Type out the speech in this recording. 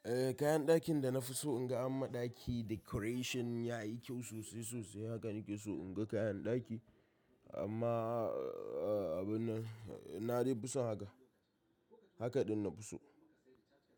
Eh kayan dakin da na fi so in ga an ma ɗaki decoration yayi kyau sosai sosai. Haka nake so in ga kayan ɗaki amma abu nan, na dai fi son haka. Haka din na fi so.